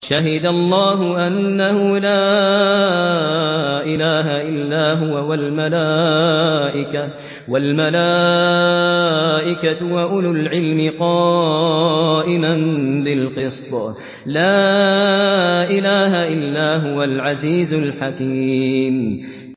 شَهِدَ اللَّهُ أَنَّهُ لَا إِلَٰهَ إِلَّا هُوَ وَالْمَلَائِكَةُ وَأُولُو الْعِلْمِ قَائِمًا بِالْقِسْطِ ۚ لَا إِلَٰهَ إِلَّا هُوَ الْعَزِيزُ الْحَكِيمُ